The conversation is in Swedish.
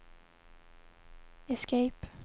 escape